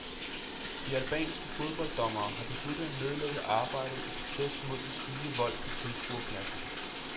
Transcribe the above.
De albanske fodbolddommere har besluttet at nedlægge arbejdet i protest mod den stigende vold på tilskuerpladserne.